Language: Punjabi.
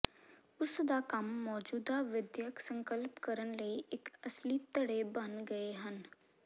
ਉਸ ਦਾ ਕੰਮ ਮੌਜੂਦਾ ਵਿਦਿਅਕ ਸੰਕਲਪ ਕਰਨ ਲਈ ਇੱਕ ਅਸਲੀ ਧੜੇ ਬਣ ਗਏ ਹਨ